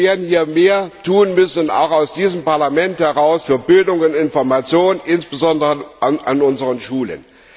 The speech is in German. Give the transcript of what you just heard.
Wir werden mehr tun müssen auch aus diesem Parlament heraus für Bildung und Information, insbesondere an unseren Schulen.